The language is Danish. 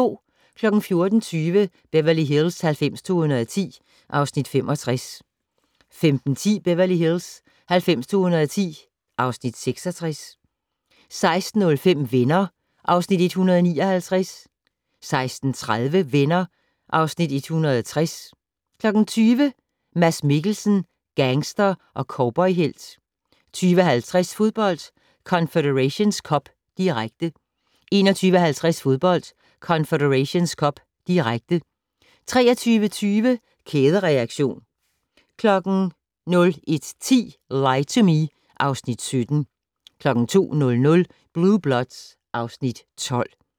14:20: Beverly Hills 90210 (Afs. 65) 15:10: Beverly Hills 90210 (Afs. 66) 16:05: Venner (Afs. 159) 16:30: Venner (Afs. 160) 20:00: Mads Mikkelsen - gangster & cowboyhelt 20:50: Fodbold: Confederations Cup, direkte 21:50: Fodbold: Confederations Cup, direkte 23:20: Kædereaktion 01:10: Lie to Me (Afs. 17) 02:00: Blue Bloods (Afs. 12)